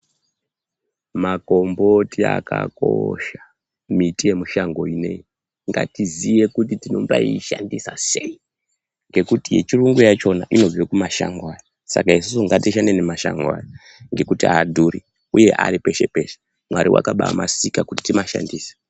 Makomboti akakosha miti yemushango inei ngatiziye kuti tinobaishandisa seyi ngekuti yechiungu yakona inobve mumashango aya saka isusu ngatishande ngemashango aya ngekuti adhuri uye aripeshe peshe mwari wakabamasika kuti tinoshandise.